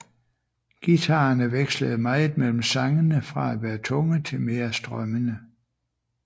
Guitarerne vekslede meget mellem sangene fra at være tunge til mere strømmende